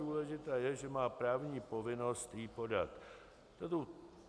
Důležité je, že má právní povinnost ji podat.